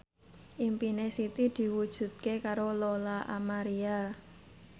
impine Siti diwujudke karo Lola Amaria